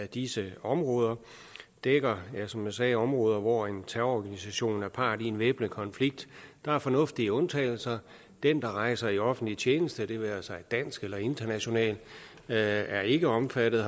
disse områder dækker som jeg sagde områder hvor en terrororganisation er part i en væbnet konflikt der er fornuftige undtagelser den der rejser i offentlig tjeneste det være sig dansk eller international er ikke omfattet